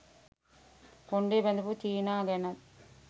කොණ්ඩෙ බැඳපු චීනා ගැනත්